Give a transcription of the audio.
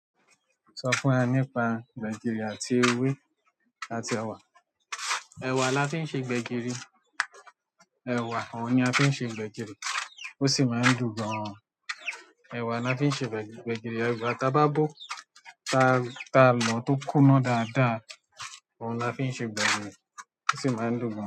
Sọ fún wa nípa gbẹ̀gìrì àti ewé àti ẹ̀wà. Ẹ̀wà la fí ń ṣe gbẹ̀gìrì. Ẹ̀wà òun ni a fi ń ṣe gbẹ̀gìrì, ó sì máa ń dùn gan an. Ẹ̀wà lafi ńṣe gbẹ̀gìrì, gbẹ̀gìrì laf--- ẹ̀wà táa bá bó, tá táa lọ̀ tó kún ná dáadáa, ohun la fí n ṣe gbẹ̀gìrì, ó sì máa n dùn dáadáa.